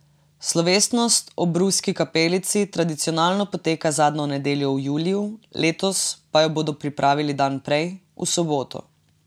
Slovesnost ob Ruski kapelici tradicionalno poteka zadnjo nedeljo v juliju, letos pa jo bodo pripravili dan prej, v soboto.